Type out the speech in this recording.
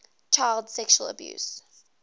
child sexual abuse